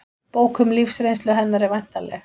Bók um lífsreynslu hennar er væntanleg